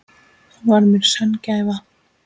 Hún var mér sönn gæfa.